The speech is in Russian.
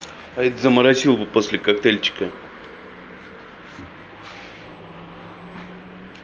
а этот заморосил бы после коктейльчика